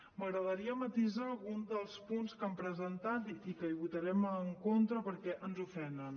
m’agradaria matisar algun dels punts que han presentat i que hi votarem en contra perquè ens ofenen